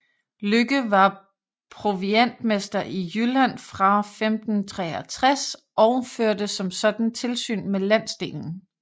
Lykke var proviantmester i Jylland fra 1563 og førte som sådan tilsyn med landsdelen